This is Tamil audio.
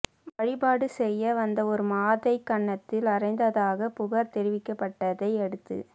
வழிபாடு செய்ய வந்த ஒரு மாதை கன்னத்தில் அறைந்ததாக புகார் தெ ரிவிக்கப்பட்டதை அடுத்து